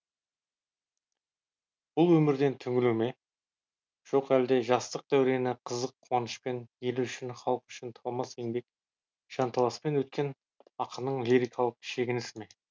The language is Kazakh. бұл өмірден түңілу ме жоқ әлде жастық дәурені қызық қуанышпен елі үшін халқы үшін талмас еңбек жанталаспен өткен ақынның лирикалық шегінісі ме